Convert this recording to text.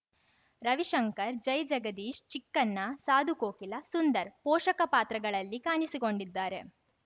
ರವಿಶಂಕರ್‌ ಜೈಜಗದೀಶ್‌ ಚಿಕ್ಕಣ್ಣ ಸಾಧು ಕೋಕಿಲ ಸುಂದರ್‌ ಪೋಷಕ ಪಾತ್ರಗಳಲ್ಲಿ ಕಾಣಿಸಿಕೊಂಡಿದ್ದಾರೆ